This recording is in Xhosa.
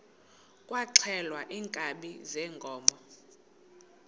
kwaxhelwa iinkabi zeenkomo